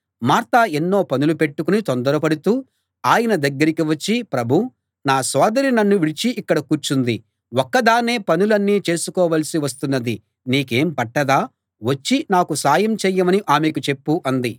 Martha ఎన్నో పనులు పెట్టుకుని తొందరపడుతూ ఆయన దగ్గరికి వచ్చి ప్రభూ నా సోదరి నన్ను విడిచి ఇక్కడ కూర్చుంది ఒక్కదాన్నే పనులన్నీ చేసుకోవలసి వస్తున్నది నీకేం పట్టదా వచ్చి నాకు సాయం చేయమని ఆమెకు చెప్పు అంది